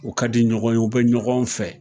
U ka di ɲɔgɔn ye, on bɛ ɲɔgɔn fɛ